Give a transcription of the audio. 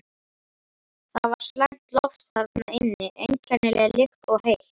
Það var slæmt loft þarna inni, einkennileg lykt og heitt.